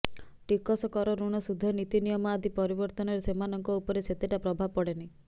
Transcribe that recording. ଟିକସ କର ଋଣ ସୁଧ ନୀତିନିୟମ ଆଦି ପରିବର୍ତ୍ତନରେ ସେମାନଙ୍କ ଉପରେ ସେତେଟା ପ୍ରଭାବ ପଡ଼େନି